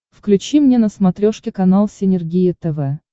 включи мне на смотрешке канал синергия тв